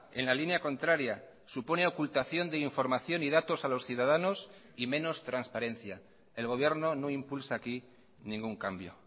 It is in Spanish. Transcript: en la línea contraria supone ocultación de información y datos a los ciudadanos y menos transparencia el gobierno no impulsa aquí ningún cambio